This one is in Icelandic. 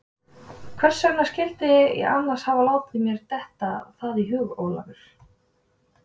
Hvers vegna skyldi ég annars hafa látið mér detta það í hug, Ólafur?